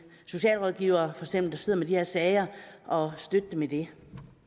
socialrådgivere der sidder med de her sager og støtte dem i det